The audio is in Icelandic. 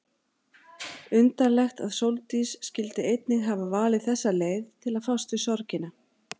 Undarlegt að Sóldís skyldi einnig hafa valið þessa leið til að fást við sorgina.